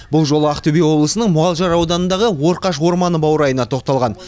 бұл жолы ақтөбе облысының мұғалжар ауданындағы орқаш орманы баурайына тоқталған